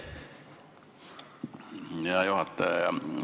Hea juhataja!